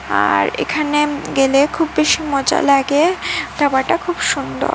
আর এখানে গেলে খুব বেশি মজা লাগে ধাবাটা খুব সুন্দর।